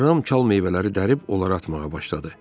Ram çal meyvələri dərib onlara atmağa başladı.